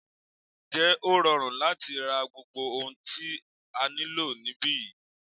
Ǹjẹ́ ó rọrùn láti ra gbogbo ohun tí a nílò níbí yìí?